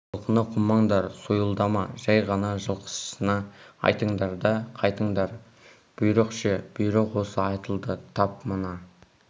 жылқыны қумаңдар сойылдама жай ғана жылқышысына айтыңдар да қайтыңдар бұйрық ше бұйрық осы айтылды тап мына